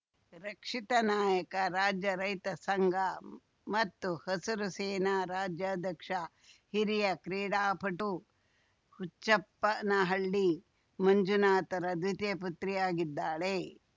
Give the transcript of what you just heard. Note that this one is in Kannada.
ರಕ್ಷಿತಾ ನಾಯಕ ರಾಜ್ಯ ರೈತ ಸಂಘ ಮತ್ತು ಹಸಿರು ಸೇನಾ ರಾಜ್ಯಾಧ್ಯಕ್ಷ ಹಿರಿಯ ಕ್ರೀಡಾಪಟು ಹುಚ್ಚಪ್ಪನಹಳ್ಳಿ ಮಂಜುನಾಥ್‌ರ ದ್ವಿತೀಯ ಪುತ್ರಿಯಾಗಿದ್ದಾಳೆ